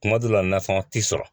Kuma dɔ la nasɔngɔn tɛ sɔrɔ.